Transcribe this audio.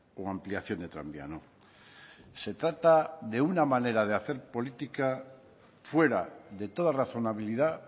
o ampliación de tranvía no se trata de una manera de hacer política fuera de toda razonabilidad